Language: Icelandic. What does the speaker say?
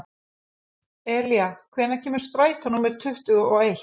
Elía, hvenær kemur strætó númer tuttugu og eitt?